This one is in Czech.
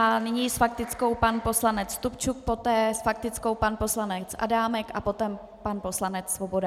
A nyní s faktickou pan poslanec Stupčuk, poté s faktickou pan poslanec Adámek a potom pan poslanec Svoboda.